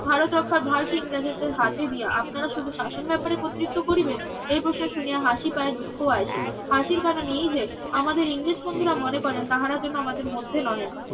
ভারত রক্ষার ভার কে ইংরেজদের হাতে দিয়া আপনারা শুধু শাসন ব্যাপারে কর্তৃত্ব করিবেন এই প্রশ্ন শুনিয়া হাসি পায় দুঃখ আসে হাসির কারণ এই যে আমাদের ইংরেজ বন্ধুরা মনে করেন তাহারা যেন আমাদের মধ্যে নহে